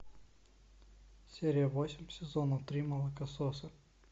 серия восемь сезона три молокососы